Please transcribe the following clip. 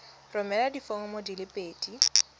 romela diforomo di le pedi